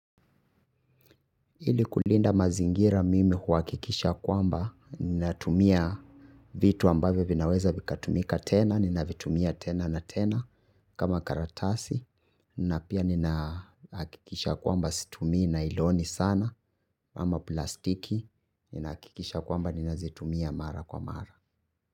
Ili kulinda mazingira mimi huhakikisha kwamba ninatumia vitu ambavyo vinaweza vikatumika tena, ninavitumia tena na tena kama karatasi, na pia ninahakikisha kwamba situmii nailoni sana, ama plastiki, ninahakikisha kwamba ninazitumia mara kwa mara.